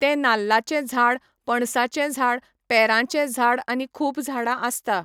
ते नाल्लाचें झाड, पणसाचें झाड, पेराचें झाड आनी खूब झाडां आसता